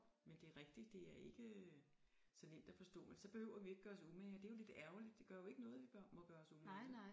Men det er rigtigt det er ikke øh så nemt at forstå men så behøver vi ikke gøre os umage og det er jo lidt ærgerligt det gør jo ikke noget vi bør må gøre os umage